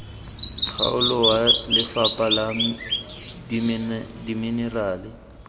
kgaolo wa lefapha la dimenerale